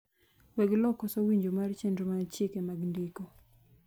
weg lowo koso winjo mar chenro mar chike mag ndiko